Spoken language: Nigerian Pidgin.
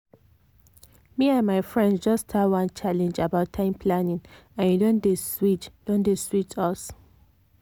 me and my friends just start one challenge about time planning and e don dey sweet don dey sweet us.